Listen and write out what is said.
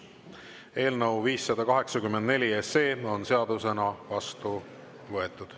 Eelnõu 584 on seadusena vastu võetud.